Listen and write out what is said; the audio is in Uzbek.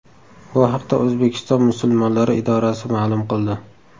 Bu haqda O‘zbekiston musulmonlari idorasi ma’lum qildi .